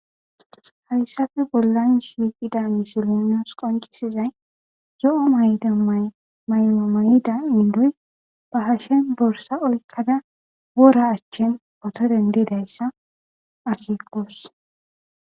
hayssafe bollan shiiqida misilinos qoncisizay zo7o mayda maymo may7ida indoy ba hashen borsa olkkada woora achchen oto dendidayssa akikkoos